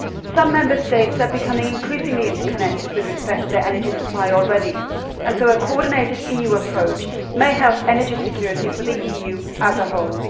Some Member States are becoming increasingly interconnected with respect to their energy supply already, so a coordinated EU approach may help energy security for the EU as a whole.